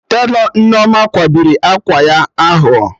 Telọ Nneoma kwabiri akwa ahụ o